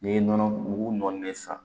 N'i ye nɔnɔ mugu nɔni de san